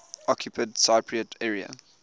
occupied cypriot area